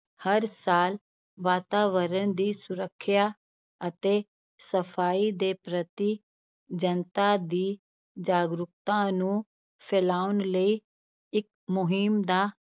ਹਰ ਸਾਲ ਵਾਤਾਵਰਣ ਦੀ ਸੁਰੱਖਿਆ ਅਤੇ ਸਫ਼ਾਈ ਦੇ ਪ੍ਰਤੀ ਜਨਤਾ ਦੀ ਜਾਗਰੂਕਤਾ ਨੂੰ ਫਲਾਉਣ ਲਈ ਇੱਕ ਮੁਹਿੰਮ ਦਾ